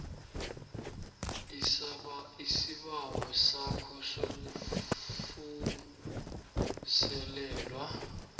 isibawo sakho sokuvuselelwa